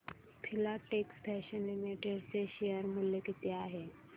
Filatex Fashions Limited चे share मूल्य किती आहे